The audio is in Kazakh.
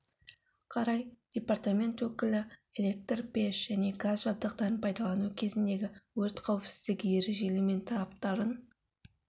қарай департамент өкілі электр пеш және газ жабдықтарын пайдалану кезіндегі өрт қауіпсіздігі ережелері мен талаптарын